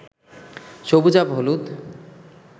সবুজাভ হলুদ